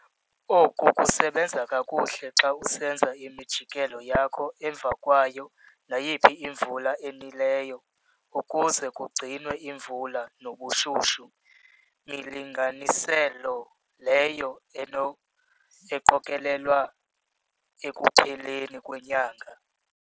Oku kusebenza kakuhle xa usenza imijikelo yakho emva kwayo nayiphi imvula enileyo ukuze kugcinwe imvula nobushushu, milinganiselo leyo eqokelelwa ekupheleni kwenyanga.